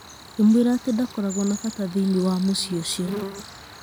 Akĩmwĩra atĩ ndakoragwo wa bata thĩiniĩ wa mũciĩ ũcio.